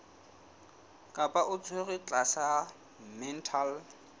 kapa o tshwerwe tlasa mental